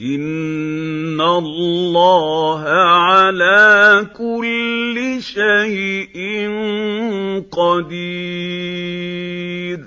إِنَّ اللَّهَ عَلَىٰ كُلِّ شَيْءٍ قَدِيرٌ